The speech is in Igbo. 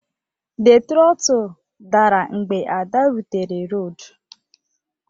The trottle dara mgbe Ada rutere raod